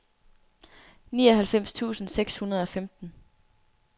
nioghalvfems tusind seks hundrede og femten